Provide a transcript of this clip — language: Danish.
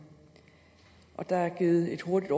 og der er der givet et hurtigt